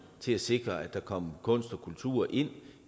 til at sikre at der kom kunst og kultur ind